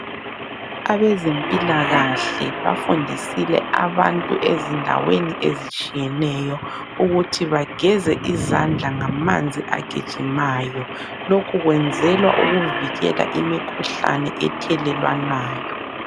Abezempilakahle bafundisile abantu ezindaweni ezitshiyeneyo ukuthi bageze izandla ngamanzi agijimayo. Lokhu kwenzelwa ukuvikela imikhuhlane ethelelwanayo.